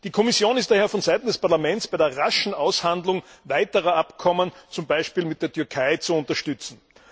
Die Kommission ist daher von Seiten des Parlaments bei der raschen Aushandlung weiterer Abkommen, zum Beispiel mit der Türkei, zu unterstützen.